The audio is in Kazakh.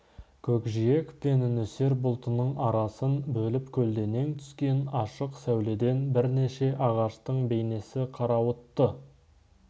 көкжиек пен нөсер бұлтының арасын бөліп көлденең түскен ашық сәуледен бірнеше ағаштың бейнесі қарауытты